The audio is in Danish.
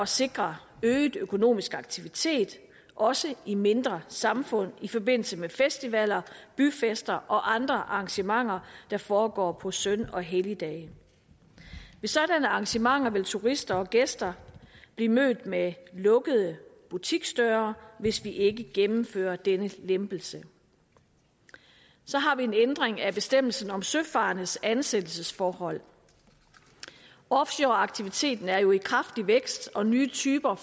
sikre øget økonomisk aktivitet også i mindre samfund i forbindelse med festivaler byfester og andre arrangementer der foregår på søn og helligdage ved sådanne arrangementer vil turister og gæster blive mødt med lukkede butiksdøre hvis vi ikke gennemfører denne lempelse så har vi en ændring af bestemmelsen om søfarendes ansættelsesforhold offshoreaktiviteten er jo i kraftig vækst og nye typer